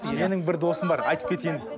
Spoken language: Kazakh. менің бір досым бар айтып кетейін